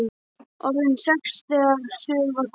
Orðin sex þegar suður var komið.